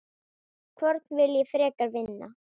Hvorn vil ég frekar vinna?